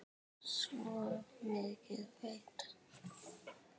Svo mikið veit